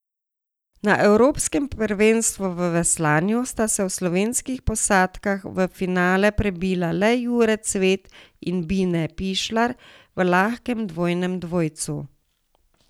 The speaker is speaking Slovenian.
Na evropskem prvenstvu v veslanju sta se od slovenskih posadk v finale prebila le Jure Cvet in Bine Pišlar v lahkem dvojnem dvojcu.